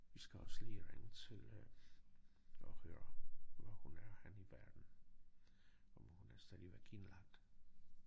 Vi skal også lige ringe til øh og høre hvor hun er henne i verden om hun er stadigvæk indlagt